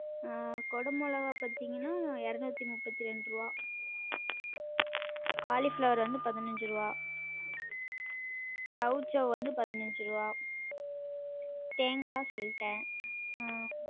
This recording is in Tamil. உம் கொடமொளகா பாத்தீங்கன்னா எறநூத்தி முப்பத்தி ரெண்டு ருவா காளிப்ளவர் வந்து பதினஞ்சு ருவா சௌசௌ வந்து பதினஞ்சு ருவா தேங்கா சொல்ட்டன உம்